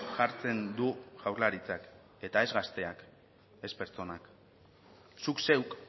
jartzen du jaurlaritzak eta ez gazteak ez pertsonak zuk zeuk